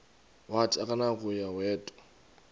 wathi akunakuya wedw